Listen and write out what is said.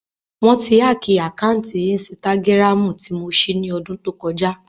Wọ́n ti hákìì àkáǹtì ínstágíráàmù tí mo ṣí ní ọdún tó kọjá